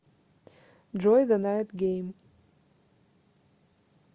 джой зэ найт гейм